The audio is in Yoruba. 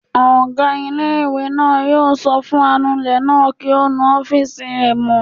Ọgá ilé-ìwé náà yóò sọ fún anulẹ̀ náà kí ó nu ọ́fìsì rẹ̀ mọ́